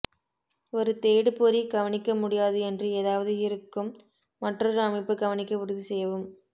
ஒரு தேடுபொறி கவனிக்க முடியாது என்று ஏதாவது இருக்கும் மற்றொரு அமைப்பு கவனிக்க உறுதி செய்யவும்